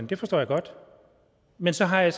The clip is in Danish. det forstår jeg godt men så har jeg